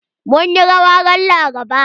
Mun yi rawa ran Laraba.